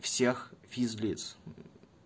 всех физлиц